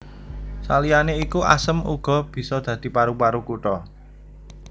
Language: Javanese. Saliyané iku asem uga bisa dadi paru paru kutha